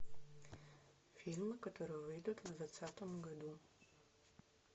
фильмы которые выйдут в двадцатом году